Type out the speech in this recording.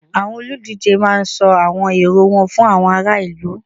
Àwọn olùdíje máá ń sọ àwọn èrò wọn fún àwọn ará ìlú